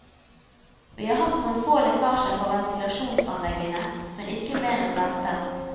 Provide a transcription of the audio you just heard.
Vi har hatt noen få lekkasjer fra ventilasjonsanleggene, men ikke mer enn ventet.